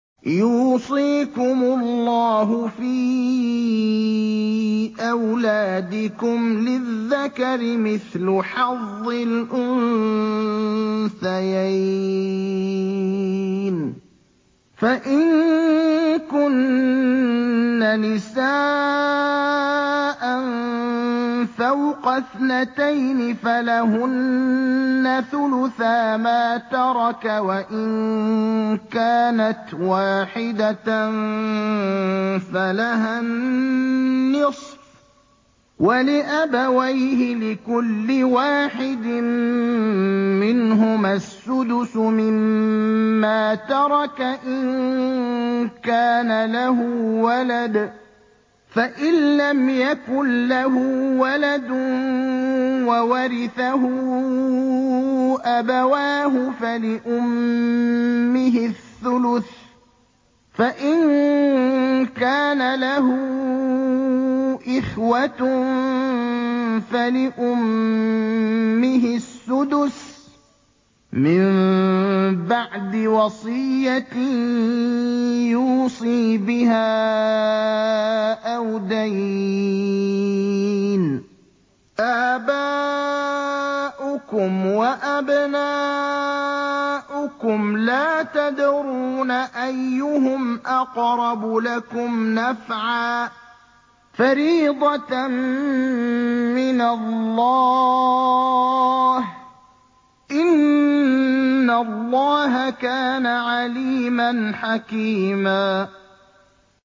يُوصِيكُمُ اللَّهُ فِي أَوْلَادِكُمْ ۖ لِلذَّكَرِ مِثْلُ حَظِّ الْأُنثَيَيْنِ ۚ فَإِن كُنَّ نِسَاءً فَوْقَ اثْنَتَيْنِ فَلَهُنَّ ثُلُثَا مَا تَرَكَ ۖ وَإِن كَانَتْ وَاحِدَةً فَلَهَا النِّصْفُ ۚ وَلِأَبَوَيْهِ لِكُلِّ وَاحِدٍ مِّنْهُمَا السُّدُسُ مِمَّا تَرَكَ إِن كَانَ لَهُ وَلَدٌ ۚ فَإِن لَّمْ يَكُن لَّهُ وَلَدٌ وَوَرِثَهُ أَبَوَاهُ فَلِأُمِّهِ الثُّلُثُ ۚ فَإِن كَانَ لَهُ إِخْوَةٌ فَلِأُمِّهِ السُّدُسُ ۚ مِن بَعْدِ وَصِيَّةٍ يُوصِي بِهَا أَوْ دَيْنٍ ۗ آبَاؤُكُمْ وَأَبْنَاؤُكُمْ لَا تَدْرُونَ أَيُّهُمْ أَقْرَبُ لَكُمْ نَفْعًا ۚ فَرِيضَةً مِّنَ اللَّهِ ۗ إِنَّ اللَّهَ كَانَ عَلِيمًا حَكِيمًا